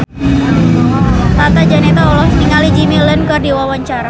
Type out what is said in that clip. Tata Janeta olohok ningali Jimmy Lin keur diwawancara